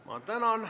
Ma tänan!